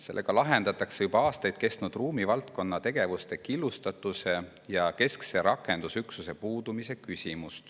Sellega lahendatakse juba aastaid püsinud ruumivaldkonna tegevuste killustatuse ja keskse rakendusüksuse puudumise küsimus.